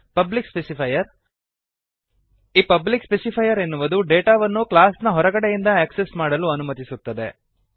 public specifier ಈ public specifier ಎನ್ನುವುದು ಡೇಟಾವನ್ನು ಕ್ಲಾಸ್ ನ ಹೊರಗಡೆಯಿಂದ ಆಕ್ಸೆಸ್ ಮಾಡಲು ಅನುಮತಿಸುತ್ತದೆ